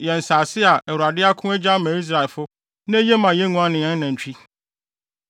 nsase a Awurade ako, agye ama Israelfo na eye ma yɛn nguan ne yɛn anantwi.